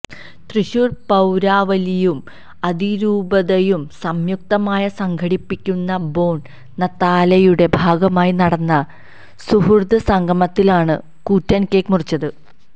തൃശൂര് പൌരാവലിയും അതിരൂപതയും സംയുക്തമായി സംഘടിപ്പിക്കുന്ന ബോണ് നത്താലെയുടെ ഭാഗമായി നടന്ന സുഹൃദ്സംഗമത്തിലാണ് കൂറ്റന് കേക്ക് മുറിച്ചത്